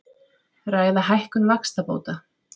Ræða hækkun vaxtabóta